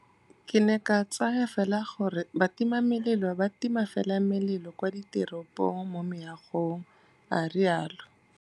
Ke ne ke tsaya fela gore batimamelelo ba tima fela melelo kwa diteropong mo meagong, a rialo.